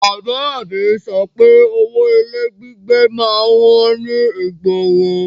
Bàbá a mi sọ pé owó ilé gbígbé má ń wọ́n ní ìgboro